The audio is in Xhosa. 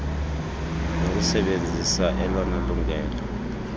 nokusebenzisa elona lungelo